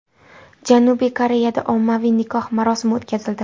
Janubiy Koreyada ommaviy nikoh marosimi o‘tkazildi .